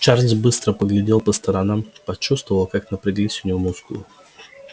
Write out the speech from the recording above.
чарлз быстро поглядел по сторонам почувствовал как напряглись у него мускулы